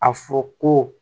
A fɔ ko